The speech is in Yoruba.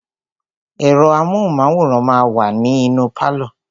Ẹ̀rọ amóhùnmáwòrán máà wa ní inú pálọ̀.